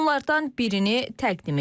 Onlardan birini təqdim edirik.